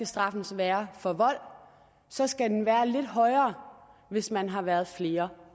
straffen skal være for vold så skal den være lidt højere hvis man har været flere